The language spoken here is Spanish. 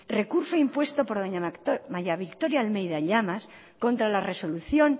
recurso impuesto por doña maría victoria almeida llamas contra la resolución